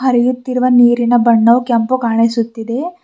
ಹರಿಯುತ್ತಿರುವ ನೀರಿನ ಬಣ್ಣವು ಕೆಂಪು ಕಾಣಿಸುತ್ತಿದೆ.